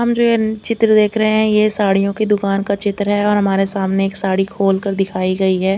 हम जो ये चित्र देख रहे है ये साड़ियों की दुकान का चित्र है और हमारे सामने एक साडी खोल कर दिखाई गई है।